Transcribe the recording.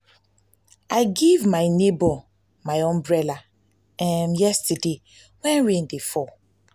i give my nebor my umbrella yesterday wey rain dey fall.